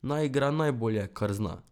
Naj igra najbolje, kar zna.